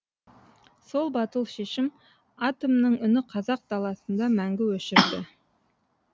сол батыл шешім атомның үні қазақ даласында мәңгі өшірді